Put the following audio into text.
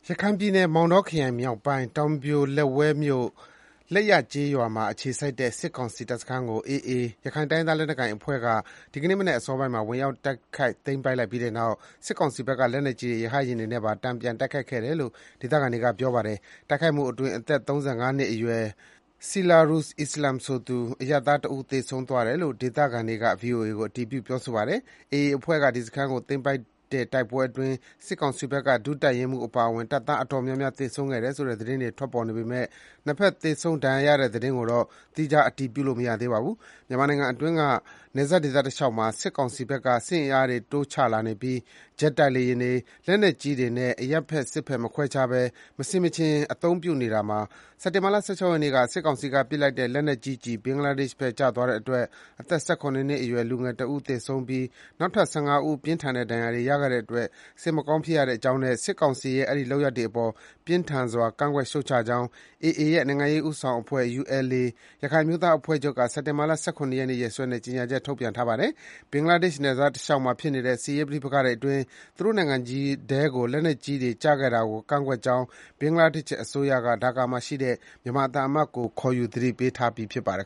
ရခိုင်ပြည်နယ်၊ မောင်တောခရိုင်မြောက်ပိုင်း၊ တောင်ပြိုလက်ဝဲမြို့၊ လိပ်ရကျေးရွာမှာ အခြေစိုက်တဲ့ စစ်ကောင်စီတပ်စခန်းကို AA ရခိုင်တိုင်းရင်းသား လက်နက်ကိုင် အဖွဲ့က ဒီကနေ့မနက် အစောပိုင်းမှာ ဝင်ရောက်တိုက်ခိုက် သိမ်းပိုက်လိုက်ပြီးတဲ့နောက် စစ်ကောင်စီဘက်က လက်နက်ကြီးတွေ၊ ရဟတ်ယာဉ်တွေနဲ့ပါ တန်ပြန် တိုက်ခိုက်ခဲ့တယ်လို့ ဒေသခံတွေက ပြောပါတယ်။ တိုက်ခိုက်မှုအတွင်း အသက် ၃၅ နှစ်အရွယ် ဆီရာဇုလ်အိစ္စလာမ် ဆိုသူ အရပ် သားတဦး သေဆုံးသွားတယ်လို့ ဒေသခံတွေက ဗွီအိုအေကို အတည်ပြုပါတယ်။ AA အဖွဲ့က ဒီစခန်းကို သိမ်းပိုက်တဲ့တိုက်ပွဲအတွင်း စစ်ကောင်စီဘက်က ဒု တပ်ရင်းမှူးအပါအဝင် တပ်သား အတော်များများသေဆုံးခဲ့တယ်ဆိုတဲ့ ဒေသတွင်း သတင်းတွေ ထွက်ပေါ်နေပေမယ့် နှစ်ဘက် သေဆုံး၊ ဒဏ်ရာရတဲ့သတင်းကိုတော့ သီးခြား အတည်ပြုလို့ မရသေးပါဘူး။ မြန်မာနိုင်ငံအတွင်းက နယ်စပ်ဒေသတလျှောက်မှာ စစ်ကောင်စီဘက်က စစ်အင် အားတွေ တိုးချလာနေပြီး ဂျက်တိုက်လေယာဉ်တွေ၊ လက်နက်ကြီးတွေနဲ့ အရပ်ဘက်၊ စစ်ဘက် မခွဲခြားဘဲ မဆင်မခြင် အသုံးပြုနေတာမှာ စက်တင်ဘာလ ၁၆ ရက်နေ့က စစ်ကောင်စီက ပစ်လိုက်တဲ့ လက်နက်ကြီးကျည် ဘင်္ဂလားဒေ့ရှ်ဘက် ကျသွားတဲ့အတွက် အသက် ၁၇ နှစ်အရွယ် လူငယ်တဦး သေဆုံးပြီး နောက်ထပ် ၁၅ ဦး ပြင်းထန်ဒဏ်ရာရခဲ့တဲ့အတွက် စိတ်မကောင်းဖြစ်ရကြောင်းနဲ့ စစ်ကောင်စီရဲ့ အဲဒီ လုပ်ရပ်တွေအပေါ် ပြင်းထန်စွာ ကန့်ကွက် ရှုတ်ချကြောင်း AA ရဲ့ နိုင်ငံရေးဦးဆောင်အဖွဲ့ဖြစ်တဲ့ ULA ရခိုင်အမျိုးသားအဖွဲ့ချုပ်က စက်တင်ဘာ ၁၇ ရက်နေ့ ရက်စွဲနဲ့ ကြေညာချက် ထုတ်ပြန်ထားပါတယ်။ ဘင်္ဂလားဒေ့ရှ်နယ်စပ်တလျှောက်မှာ ဖြစ်နေတဲ့ စစ်ရေးပဋိပက္ခတွေအတွင်း သူတို့နိုင်ငံထဲကို လက်နက်ကြီးကျည်တွေ ကျခဲ့တာကို ကန့်ကွက်ကြောင်း ဘင်္ဂလားဒေ့ရှ် အစိုးရက ဒါကာမှာရှိတဲ့ မြန်မာသံအမတ်ကို ခေါ်ယူ သတိပေးပြီး ဖြစ်ပါတယ်